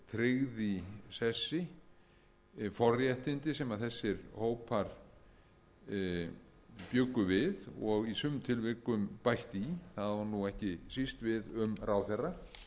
tryggð í sessi forréttindi sem þessir hópar bjuggu við og í sumum tilvikum bætt í það á nú ekki síst við um ráðherra vegna þess að